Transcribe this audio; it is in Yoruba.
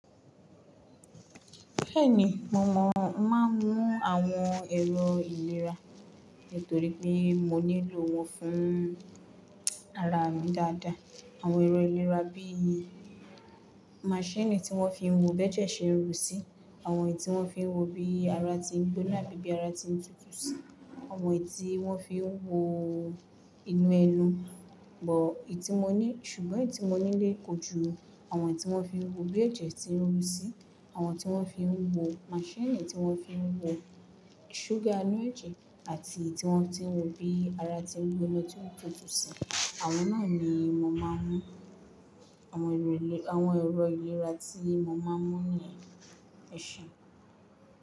Bẹ́ẹ̀ni, mo mọ̀, máa ń mú àwọn ẹ̀rọ ìlera, torí pé mo nílò wọn fún ara mi dáadáa. Àwọn ẹ̀rọ ìlera bí i maṣíìnì tí wọ́n fi ń wo bẹ́jẹ́ ṣe ń rù sí, àwọn èyí tí wọ́n fi ń wo bí ara ti ń gbóná abí bí ara ti ń tutù sí, àwọn èyí tí wọ́n fi ń wo inú ẹnu, bọ̀ ì tí mo ní ṣùgbọ́n èyí tí mo ní lè kojú àwọn tí wọ́n fi ń wo bí ẹ̀jẹ̀ ti ń rù sí, àwọn tí wọ́n fi ń wo, maṣíìnì tí wọ́n fi ń wo ṣúgà inú ẹ̀jẹ̀ àti tí wọ́n ti ń wo bí ara ti ń gbóná tí ó ń tutù sí, àwọn náà ni mo máa ń mú. Awon ero ilera Àwọn ẹ̀rọ ìlera tí mo máa ń mú nìyẹn. Ẹ ṣé.